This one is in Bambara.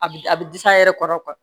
A bi a bi a yɛrɛ kɔrɔ